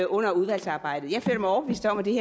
under udvalgsarbejdet jeg føler mig overbevist om at det